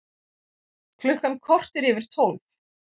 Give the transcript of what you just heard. Klukkan korter yfir tólf